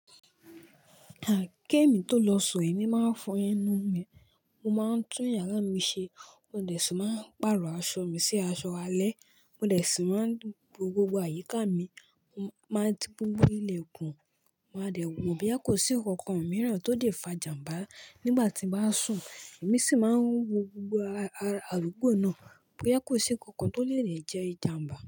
Ké mi tó lọ sùn, èmi máa ń fọ enú mi, mo máa ń tún yàrá mi ṣe, mo dẹ̀ ṣi máa ń pàrọ̀ aṣọ mi sí aṣọ alẹ́, mo dẹ̀ ṣi máa ń wo gbogbo àyíká mi, máa ti gbogbo ilẹ̀kùn, máa dẹ̀ wò boya kò sí nkankan mìíràn tó lè fa jàmbá nígbà tí mo bá sùn. Èmi sì máa ń wo gbogbo ara adugbò náà boya kò sí nkankan tó lè rìn jẹ́ ìjàmbá.